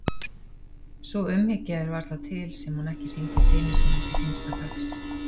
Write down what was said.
Sú umhyggja er varla til sem hún ekki sýndi syni sínum til hinsta dags.